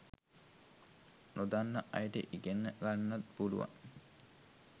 නොදන්න අයට ඉගෙන්න ගන්නත් පුලුවන්